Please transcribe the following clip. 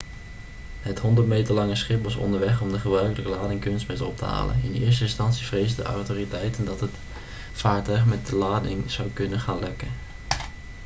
het 100 meter lange schip was onderweg om de gebruikelijke lading kunstmest op te halen in eerste instantie vreesden autoriteiten dat het vaartuig met de lading zou kunnen gaan lekken